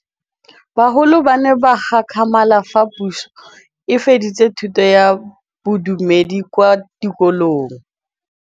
Bagolo ba ne ba gakgamala fa Pusô e fedisa thutô ya Bodumedi kwa dikolong.